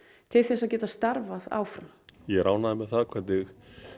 til þess að geta starfað áfram ég er ánægður með það hvernig